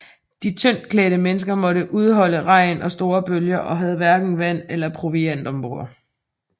De tyndt klædte mennesker måtte udholde regn og store bølger og havde hverken vand eller proviant ombord